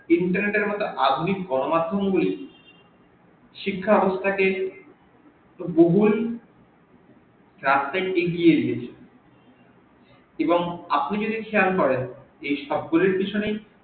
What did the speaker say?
internet এর আধুনিক গন মাধ্যম গুলি শিক্ষা ব্যাবস্থা কে বহুল এগিয়ে নিয়েছে এবং আপনি যদি খেয়াল করেন এই সব গুলোর পেছনেই